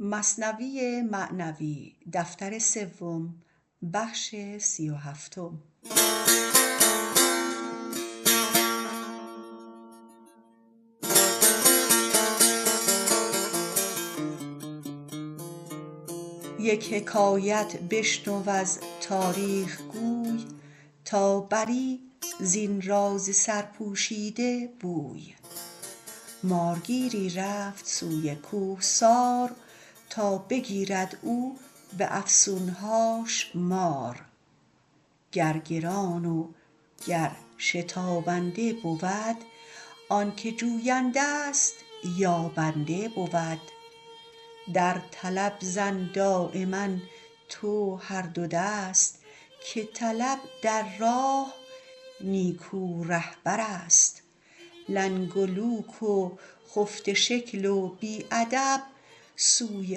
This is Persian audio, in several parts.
یک حکایت بشنو از تاریخ گوی تا بری زین راز سرپوشیده بوی مارگیری رفت سوی کوهسار تا بگیرد او به افسون هاش مار گر گران و گر شتابنده بود آنک جوینده ست یابنده بود در طلب زن دایما تو هر دو دست که طلب در راه نیکو رهبر ست لنگ و لوک و خفته شکل و بی ادب سوی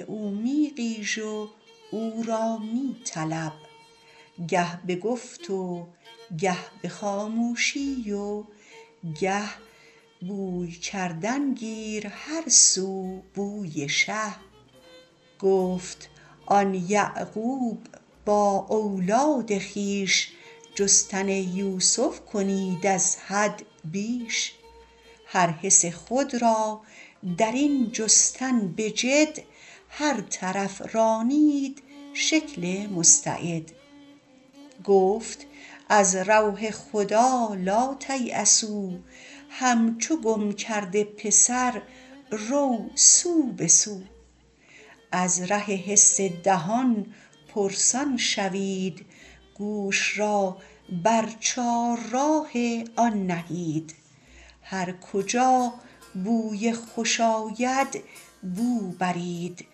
او می غیژ و او را می طلب گه به گفت و گه به خاموشی و گه بوی کردن گیر هر سو بوی شه گفت آن یعقوب با اولاد خویش جستن یوسف کنید از حد بیش هر حس خود را درین جستن به جد هر طرف رانید شکل مستعد گفت از روح خدا لاتیأسوا همچو گم کرده پسر رو سو به سو از ره حس دهان پرسان شوید گوش را بر چار راه آن نهید هر کجا بوی خوش آید بو برید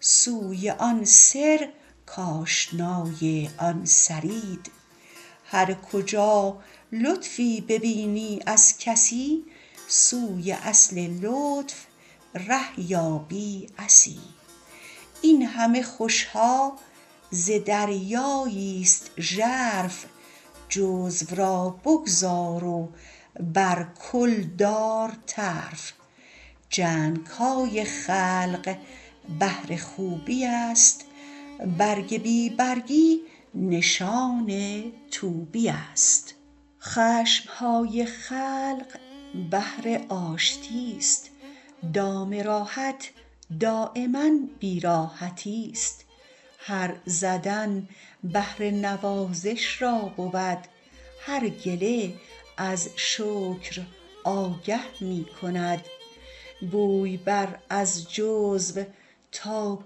سوی آن سر کاشنای آن سرید هر کجا لطفی ببینی از کسی سوی اصل لطف ره یابی عسی این همه خوش ها ز دریایی ست ژرف جزو را بگذار و بر کل دار طرف جنگ های خلق بهر خوبی است برگ بی برگی نشان طوبی است خشم های خلق بهر آشتی ست دام راحت دایما بی راحتی ست هر زدن بهر نوازش را بود هر گله از شکر آگه می کند بوی بر از جزو تا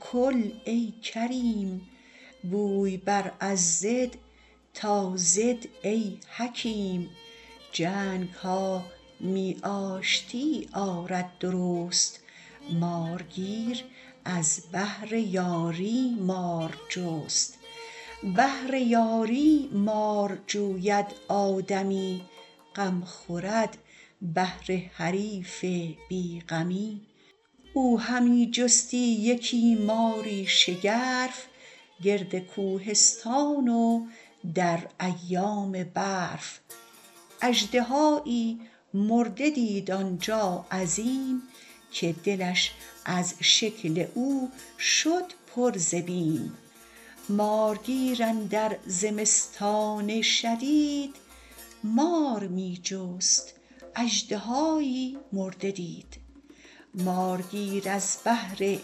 کل ای کریم بوی بر از ضد تا ضد ای حکیم جنگ ها می آشتی آرد درست مارگیر از بهر یاری مار جست بهر یاری مار جوید آدمی غم خورد بهر حریف بی غمی او همی جستی یکی ماری شگرف گرد کوهستان و در ایام برف اژدهایی مرده دید آنجا عظیم که دلش از شکل او شد پر ز بیم مارگیر اندر زمستان شدید مار می جست اژدهایی مرده دید مارگیر از بهر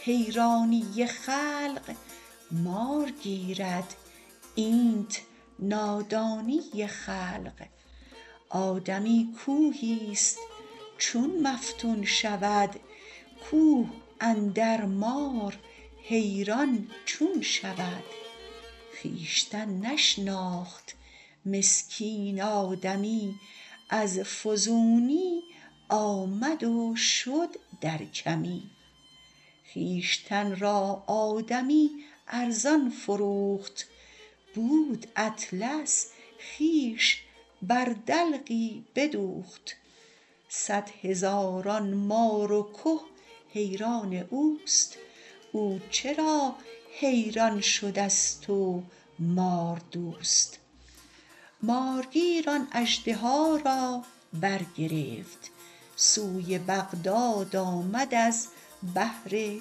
حیرانی خلق مار گیرد اینت نادانی خلق آدمی کوهی ست چون مفتون شود کوه اندر مار حیران چون شود خویشتن نشناخت مسکین آدمی از فزونی آمد و شد در کمی خویشتن را آدمی ارزان فروخت بود اطلس خویش بر دلقی بدوخت صد هزاران مار و که حیران اوست او چرا حیران شده ست و مار دوست مارگیر آن اژدها را برگرفت سوی بغداد آمد از بهر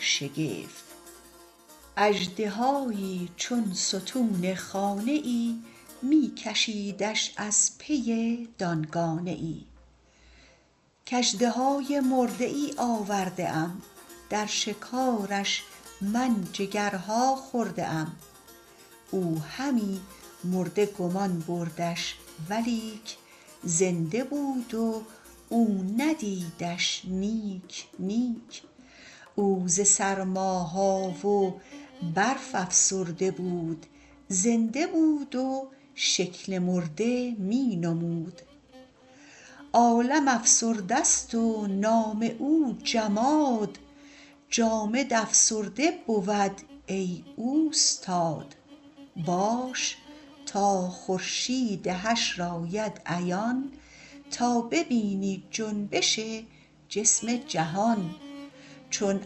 شگفت اژدهایی چون ستون خانه ای می کشیدش از پی دانگانه ای کاژدهای مرده ای آورده ام در شکارش من جگرها خورده ام او همی مرده گمان بردش ولیک زنده بود و او ندیدش نیک نیک او ز سرما ها و برف افسرده بود زنده بود و شکل مرده می نمود عالم افسرده ست و نام او جماد جامد افسرده بود ای اوستاد باش تا خورشید حشر آید عیان تا ببینی جنبش جسم جهان چون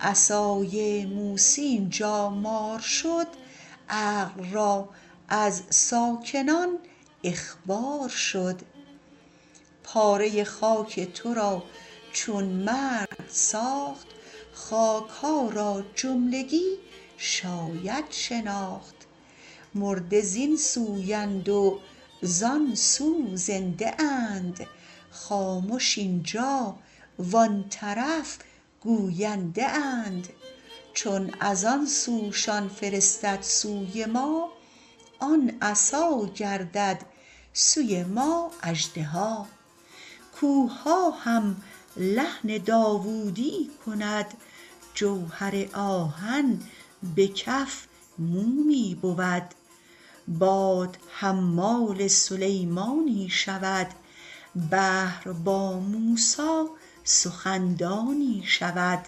عصای موسی اینجا مار شد عقل را از ساکنان اخبار شد پاره خاک تو را چون مرد ساخت خاک ها را جملگی شاید شناخت مرده زین سو اند و زان سو زنده اند خامش اینجا و آن طرف گوینده اند چون از آن سوشان فرستد سوی ما آن عصا گردد سوی ما اژدها کوهها هم لحن داودی کند جوهر آهن به کف مومی بود باد حمال سلیمانی شود بحر با موسی سخن دانی شود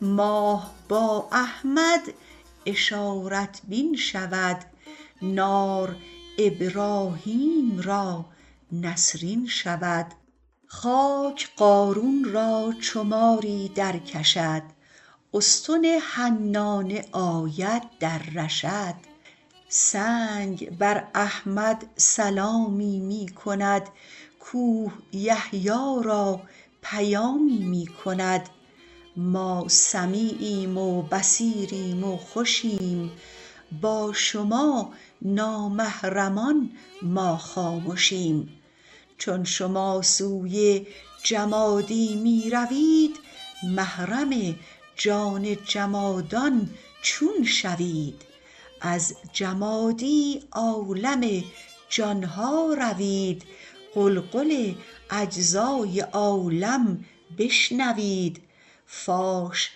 ماه با احمد اشارت بین شود نار ابراهیم را نسرین شود خاک قارون را چو ماری درکشد استن حنانه آید در رشد سنگ بر احمد سلامی می کند کوه یحیی را پیامی می کند ما سمیعیم و بصیریم و خوشیم با شما نامحرمان ما خامشیم چون شما سوی جمادی می روید محرم جان جمادان چون شوید از جمادی عالم جانها روید غلغل اجزای عالم بشنوید فاش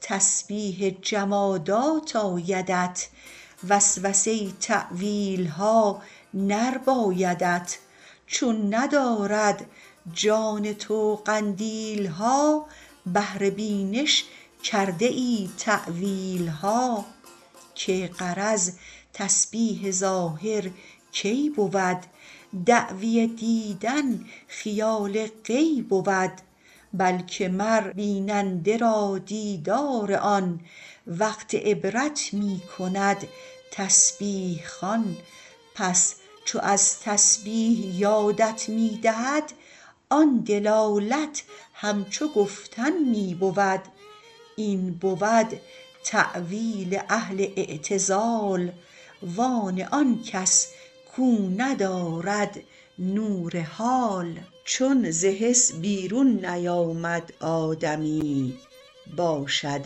تسبیح جمادات آیدت وسوسه ی تاویلها نربایدت چون ندارد جان تو قندیل ها بهر بینش کرده ای تاویل ها که غرض تسبیح ظاهر کی بود دعوی دیدن خیال غی بود بلک مر بیننده را دیدار آن وقت عبرت می کند تسبیح خوان پس چو از تسبیح یادت می دهد آن دلالت همچو گفتن می بود این بود تاویل اهل اعتزال و آن آنکس کو ندارد نور حال چون ز حس بیرون نیامد آدمی باشد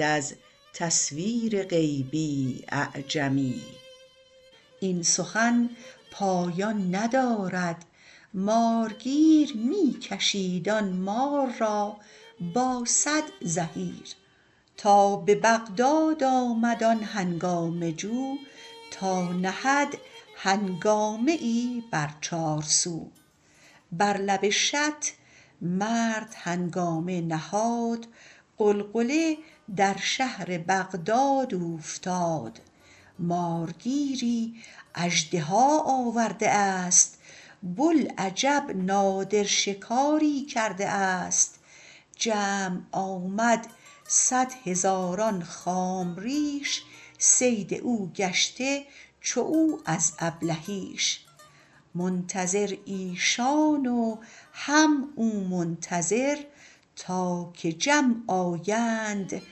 از تصویر غیبی اعجمی این سخن پایان ندارد مارگیر می کشید آن مار را با صد زحیر تا به بغداد آمد آن هنگامه جو تا نهد هنگامه ای بر چارسو بر لب شط مرد هنگامه نهاد غلغله در شهر بغداد اوفتاد مارگیری اژدها آورده است بوالعجب نادر شکاری کرده است جمع آمد صد هزاران خام ریش صید او گشته چو او از ابلهیش منتظر ایشان و هم او منتظر تا که جمع آیند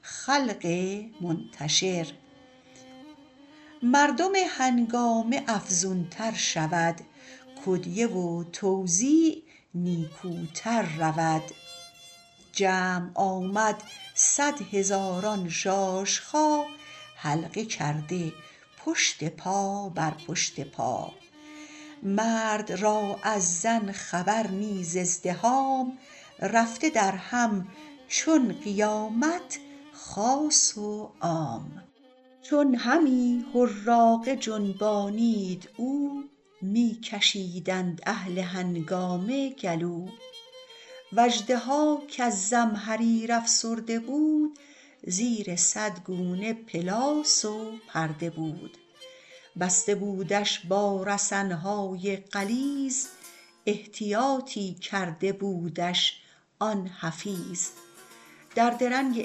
خلق منتشر مردم هنگامه افزون تر شود کدیه و توزیع نیکوتر رود جمع آمد صد هزاران ژاژخا حلقه کرده پشت پا بر پشت پا مرد را از زن خبر نه ز ازدحام رفته درهم چون قیامت خاص و عام چون همی حراقه جنبانید او می کشیدند اهل هنگامه گلو و اژدها کز زمهریر افسرده بود زیر صد گونه پلاس و پرده بود بسته بودش با رسن های غلیظ احتیاطی کرده بودش آن حفیظ در درنگ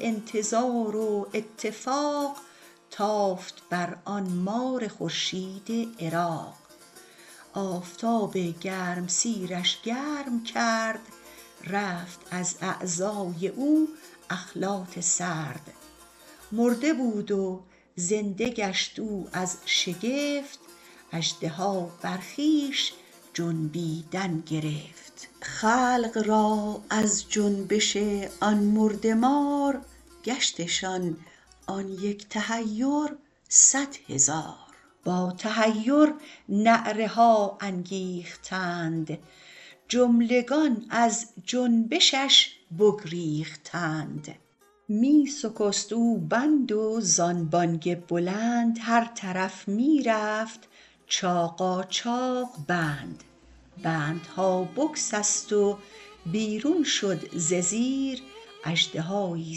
انتظار و اتفاق تافت بر آن مار خورشید عراق آفتاب گرمسیر ش گرم کرد رفت از اعضای او اخلاط سرد مرده بود و زنده گشت او از شگفت اژدها بر خویش جنبیدن گرفت خلق را از جنبش آن مرده مار گشتشان آن یک تحیر صد هزار با تحیر نعره ها انگیختند جملگان از جنبشش بگریختند می سکست او بند و زان بانگ بلند هر طرف می رفت چاقاچاق بند بندها بسکست و بیرون شد ز زیر اژدهایی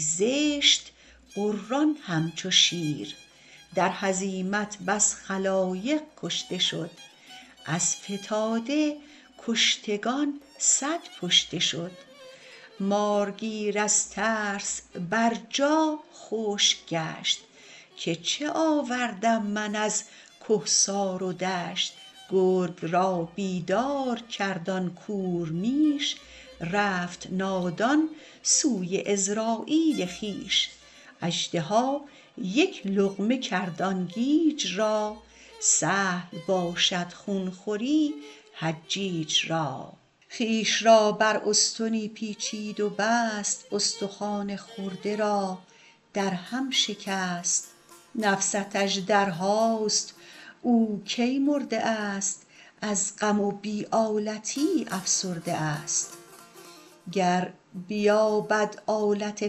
زشت غران همچو شیر در هزیمت بس خلایق کشته شد از فتاده کشتگان صد پشته شد مارگیر از ترس بر جا خشک گشت که چه آوردم من از کهسار و دشت گرگ را بیدار کرد آن کور میش رفت نادان سوی عزراییل خویش اژدها یک لقمه کرد آن گیج را سهل باشد خون خوری حجیج را خویش را بر استنی پیچید و بست استخوان خورده را در هم شکست نفست اژدرهاست او کی مرده است از غم و بی آلتی افسرده است گر بیابد آلت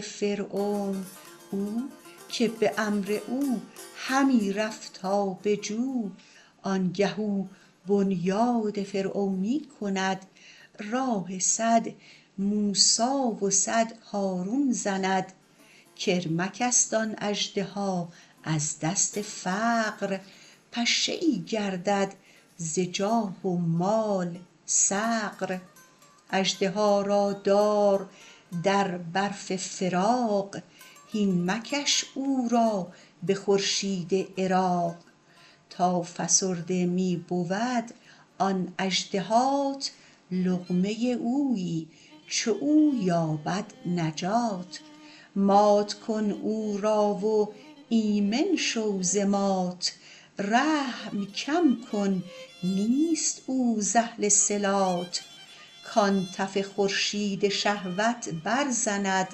فرعون او که به امر او همی رفت آب جو آنگه او بنیاد فرعونی کند راه صد موسی و صد هارون زند کرمک است آن اژدها از دست فقر پشه ای گردد ز جاه و مال صقر اژدها را دار در برف فراق هین مکش او را به خورشید عراق تا فسرده می بود آن اژدهات لقمه اویی چو او یابد نجات مات کن او را و ایمن شو ز مات رحم کم کن نیست او ز اهل صلات کان تف خورشید شهوت برزند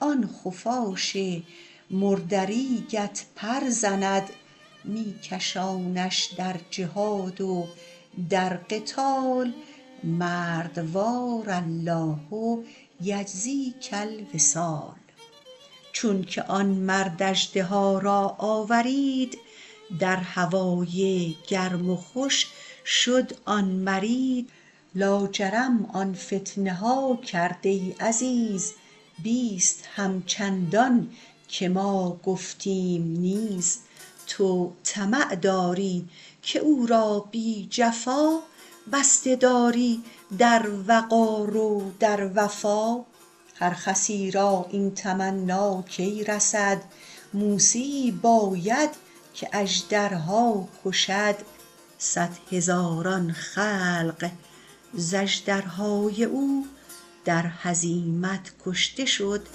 آن خفاش مردریگت پر زند می کشانش در جهاد و در قتال مردوار الله یجزیک الوصال چونک آن مرد اژدها را آورید در هوای گرم خوش شد آن مرید لاجرم آن فتنه ها کرد ای عزیز بیست همچندان که ما گفتیم نیز تو طمع داری که او را بی جفا بسته داری در وقار و در وفا هر خسی را این تمنی کی رسد موسیی باید که اژدرها کشد صد هزاران خلق ز اژدرهای او در هزیمت کشته شد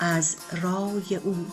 از رای او